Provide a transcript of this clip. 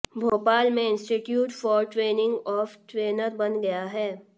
भोपाल में institute for training of trainer बन गया है